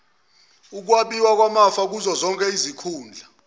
ukwabiwa kwamafa kuzozonkeizikhundla